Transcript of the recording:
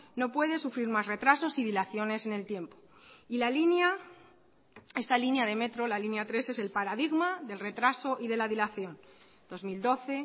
no puede sufrir más retrasos y dilaciones en el tiempo y la línea esta línea de metro la línea tres es el paradigma del retraso y de la dilación dos mil doce